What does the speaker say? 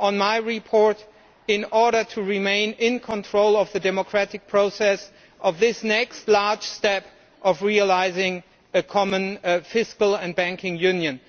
on my report in order to remain in control of the democratic process of this next large step of realising a common fiscal and banking union.